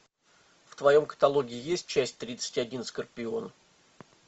в твоем каталоге есть часть тридцать один скорпион